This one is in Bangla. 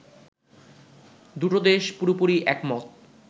দুটো দেশ পুরোপুরি একমত